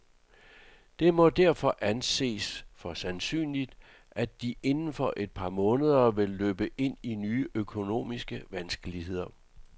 Det må derfor anses for sandsynligt, at de inden for et par måneder vil løbe ind i nye økonomiske vanskeligheder.